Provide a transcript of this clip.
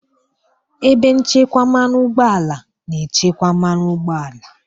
Ebe nchekwa mmanụ ụgbọala na-echekwa mmanụ ụgbọala.